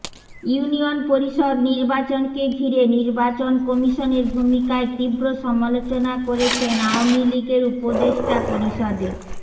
union পরিষদ নির্বাচনকে ঘিরে নির্বাচন কমিশনের ভূমিকার তীব্র সমালোচনা করেছেন আওয়ামী লীগের উপদেষ্টা পরিষদে